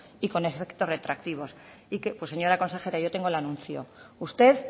y con efecto retroactivo pues señora consejera yo tengo el anuncio usted